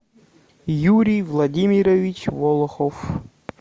юрий владимирович волохов